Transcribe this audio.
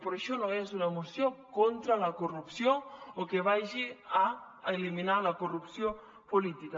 però això no és una moció contra la corrupció o que vagi a eliminar la corrupció política